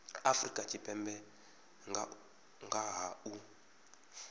afrika tshipembe nga ha u